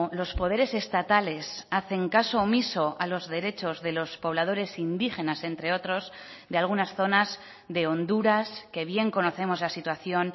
los poderes estatales hacen caso omiso a los derechos de los pobladores indígenas entre otros de algunas zonas de honduras que bien conocemos la situación